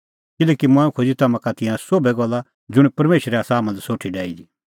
किल्हैकि मंऐं खोज़ी तम्हां का तिंयां सोभै गल्ला ज़ुंण परमेशरै आसा हाम्हां लै सोठी डाही दी